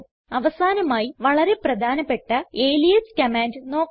അവസാനമായി വളരെ പ്രധാനപ്പെട്ട അലിയാസ് കമാൻഡ് നോക്കാം